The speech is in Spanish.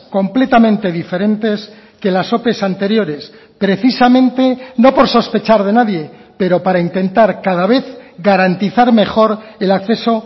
completamente diferentes que las ope anteriores precisamente no por sospechar de nadie pero para intentar cada vez garantizar mejor el acceso